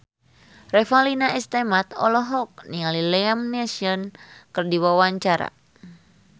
Revalina S. Temat olohok ningali Liam Neeson keur diwawancara